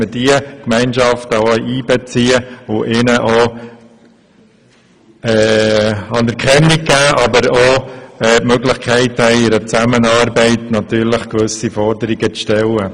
Wir wollen diese Gemeinschaften einbeziehen und anerkennen, aber auch die Möglichkeit haben, im Rahmen dieser Zusammenarbeit gewisse Forderungen zu stellen.